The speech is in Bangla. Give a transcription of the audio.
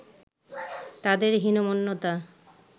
তাদের হীনমন্যতা